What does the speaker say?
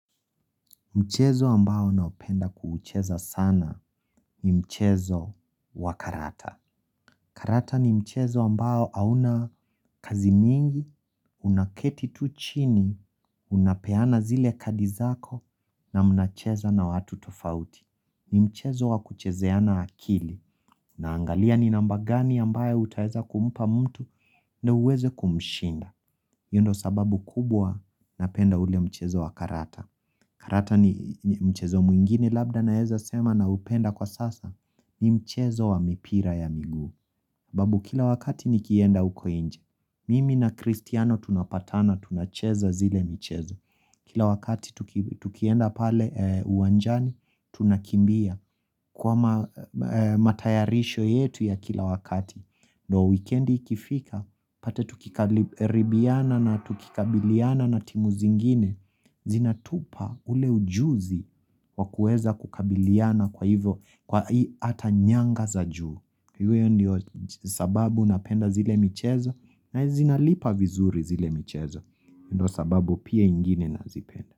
Mchezo ambao naupenda kuucheza sana ni mchezo wa karata. Karata ni mchezo ambao hauna kazi mingi, unaketi tu chini, unapeana zile kadi zako na mnacheza na watu tofauti. Ni mchezo wa kuchezeana akili na angalia ni namba gani ambayo utaeza kumpa mtu na uweze kumshinda. Hiyo ndo sababu kubwa napenda ule mchezo wa karata. Karata ni mchezo mwingine labda naeza sema naupenda kwa sasa, ni mchezo wa mipira ya miguu. Babu kila wakati nikienda uko nje. Mimi na Kristiano tunapatana, tunacheza zile mchezo. Kila wakati tukienda pale uwanjani, tunakimbia kwa matayarisho yetu ya kila wakati. Ndo wikendi ikifika, pata tukiribiana na tukikabiliyana na timu zingine, zinatupa ule ujuzi wakueza kukabiliyana kwa hivyo, kwa hii ata nyanga za juu. Iwe ndio sababu unapenda zile michezo na zinalipa vizuri zile michezo, ndio sababu pia ingine nazipenda.